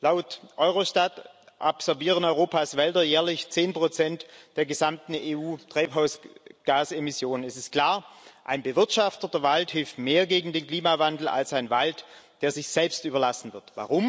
Laut Eurostat absorbieren Europas Wälder jährlich zehn Prozent der gesamten EU Treibhausgasemission. Es ist klar Ein bewirtschafteter Wald hilft mehr gegen den Klimawandel als ein Wald, der sich selbst überlassen wird.